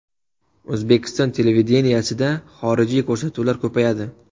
O‘zbekiston televideniyesida xorijiy ko‘rsatuvlar ko‘payadi.